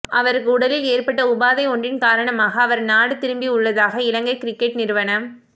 அவருக்கு உடலில் ஏற்பட்ட உபாதை ஒன்றின் காரணமாக அவர் நாடு திரும்பியுள்ளதாக இலங்கை கிரிக்கெட் நிறுவனம்